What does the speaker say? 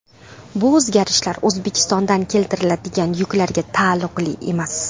Bu o‘zgarishlar O‘zbekistondan keltiriladigan yuklarga taalluqli emas.